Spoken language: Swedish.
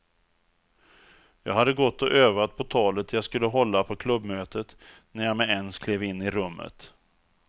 Jag hade gått och övat på talet jag skulle hålla på klubbmötet när jag med ens klev in i rummet.